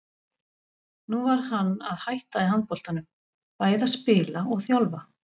Nú var hann að hætta í handboltanum, bæði að spila og þjálfa.